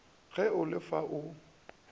ge o le fa o